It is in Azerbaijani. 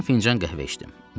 Yarım fincan qəhvə içdim.